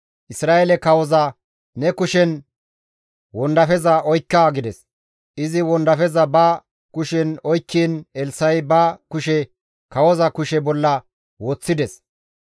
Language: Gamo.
Isra7eele kawoza, «Ne kushen wondafeza oykka» gides; izi wondafeza ba kushen oykkiin Elssa7i ba kushe kawoza kushe bolla woththides.